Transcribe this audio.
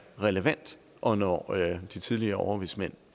relevant og når de tidligere overvismænd